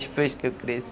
Depois que eu